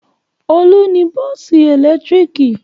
Olú ní bọ́ọ́sì ẹ̀lẹ́tíríkì.